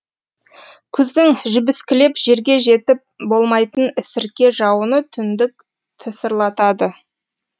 күздің жібіскілеп жерге жетіп болмайтын сірке жауыны түндік тысырлатады